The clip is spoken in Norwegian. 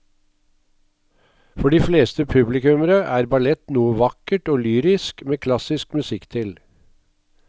For de fleste publikummere er ballett noe vakkert og lyrisk med klassisk musikk til.